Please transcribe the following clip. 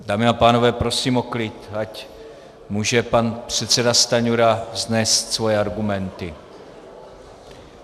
Dámy a pánové, prosím o klid, ať může pan předseda Stanjura vznést svoje argumenty.